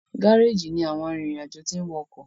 Gáréèjì ní àwọn arinrin-ajo tin wò ọkọ